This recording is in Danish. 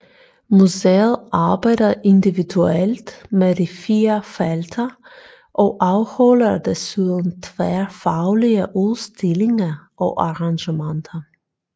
Museet arbejder individuelt med de 4 felter og afholder desuden tværfaglige udstillinger og arrangementer